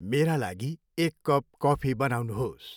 मेरा लागि एक कप कफी बनाउनुहोस्